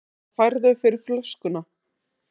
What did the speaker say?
Hvað færðu fyrir flöskuna?